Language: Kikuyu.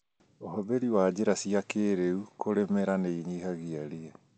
ũhũthĩri wa njĩra cia kĩrĩu cia kũrĩmĩra nĩinyihagia ria